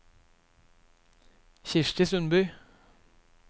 Kristi Sundby